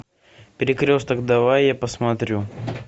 перекресток давай я посмотрю